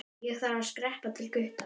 Ég þarf að skreppa til Gutta.